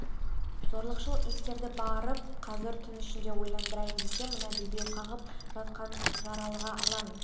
зорлықшыл иттерді барып қазір түн ішінде ойрандайын десе мына бебеу қағып жатқан жаралыға алаң